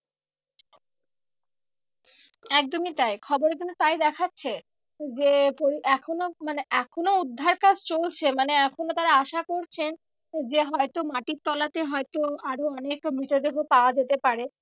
একদমই তাই খবরে কিন্তু তাই দেখাচ্ছে। যে এখনো মানে এখনো উদ্ধার কাজ চলছে মানে এখনো তারা আশা করছেন যে হয়তো মাটির তোলাতে হয়তো আরো অনেক মৃতদেহ পাওয়া যেতে পারে।